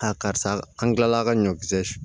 karisa an kilala ka ɲɔkisɛ